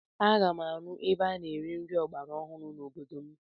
Aga m arụ ebe a na-ere nri ọgbara ọhụrụ n'obodo m.